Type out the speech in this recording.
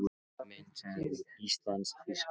Myndasería úr ÍSLAND- Þýskaland